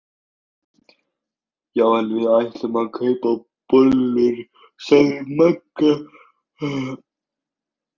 Já en við ætlum að kaupa bollur sagði Magga.